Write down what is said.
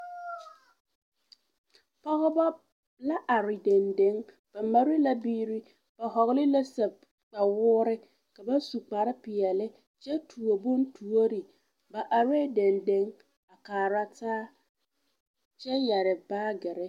Pɔgeba la are dendeŋe ba mare la biiri ba hɔgele la sapigi kpawoore ka ba su kpare peɛle kyɛ tuo bontuori ba arɛɛ dendeŋ a kaara taa kyɛ yɛre baagiri.